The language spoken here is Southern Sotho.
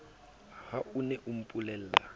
ha o ne o mpolella